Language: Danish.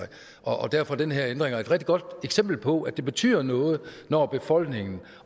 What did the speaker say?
og derfor er den her ændring et godt eksempel på at det betyder noget når befolkning